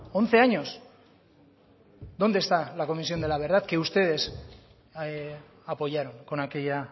once años dónde está la comisión de la verdad que ustedes apoyaron con aquella